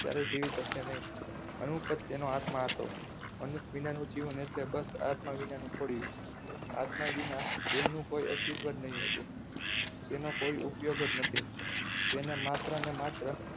ક્યારે જીવી શકશે નહીં અનુપ પ્રત્યેનો આત્મા હતો અનુપ વિનાનું જીવન એટલે બસ આત્મા વિનાનું ખોડિયું આત્મા વિના દેહનું કોઈ અસ્તિત્વ નહીં જ હોતું તેનો કોઈ ઉપયોગ જ નથી તેને માત્ર અને માત્ર